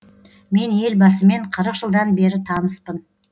мен елбасымен қырық жылдан бері таныспын